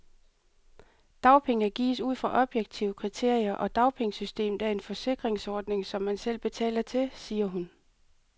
Dagpenge gives ud fra objektive kriterier, og dagpengesystemet er en forsikringsordning, som man selv betaler til, siger hun.